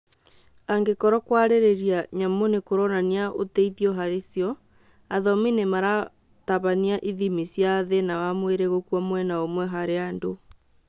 Angĩkorwo kwarĩria nyamũ nĩkũronania ũteithio harĩ cio, athomi nĩmaratabania ithimi cia thĩna wa mwĩrĩ gũkua mwena ũmwe hari andũ